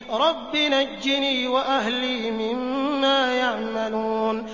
رَبِّ نَجِّنِي وَأَهْلِي مِمَّا يَعْمَلُونَ